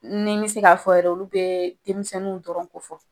Ni nbɛ se k'a fɔ yɛrɛ, olu bɛ denmisɛniw dɔrɔnw ko fɔ